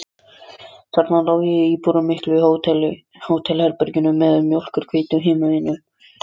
Þarna lá ég í íburðarmiklu hótelherbergi meðan mjólkurhvítur himinninn söng.